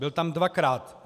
Byl tam dvakrát.